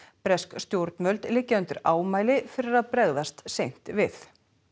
bresk stjórnvöld liggja undir ámæli fyrir að bregðast seint við